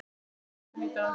Fengum bátinn í dag.